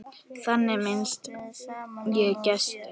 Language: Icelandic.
Þannig minnist ég Gests.